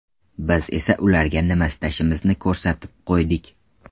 Biz esa ularga nima istashimizni ko‘rsatib qo‘ydik.